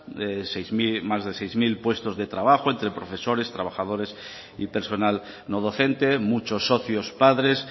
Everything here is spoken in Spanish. más de seis mil puestos de trabajo entre profesores trabajadores y personal no docente muchos socios padres